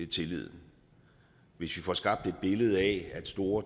tilliden hvis vi får skabt et billede af at store